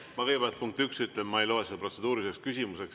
Ma kõigepealt, punkt üks, ütlen, et ma ei loe seda protseduuriliseks küsimuseks.